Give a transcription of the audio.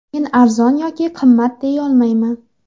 Men arzon yoki qimmat deyolmayman.